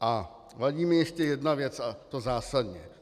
A vadí mi ještě jedna věc a to zásadní.